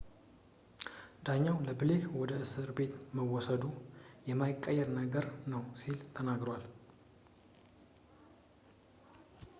ዳኛው ለብሌክ ወደ እስር ቤት መወሰዱ የማይቀር ነገር ነው ሲል ተናግሮታል